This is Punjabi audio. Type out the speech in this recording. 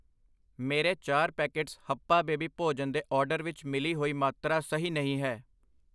ਮੇਰੇ ਚਾਰ ਪੈਕੇਟਸ ਹਪਪਆ ਬੇਬੀ ਭੋਜਨ ਦੇ ਆਰਡਰ ਵਿੱਚ ਮਿਲੀ ਹੋਈ ਮਾਤਰਾ ਸਹੀ ਨਹੀਂ ਹੈ I